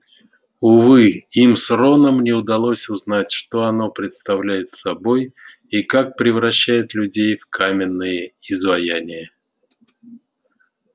увы им с роном не удалось узнать что оно представляет собой и как превращает людей в каменные изваяния